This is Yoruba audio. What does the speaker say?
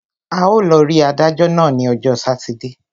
A ó lọ rí adájọ́ náà ní ọjọ́ sátidé.